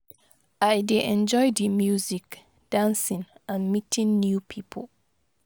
I dey enjoy di music, dancing and meeting new people.